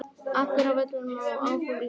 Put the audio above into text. Allir á völlinn og Áfram Ísland.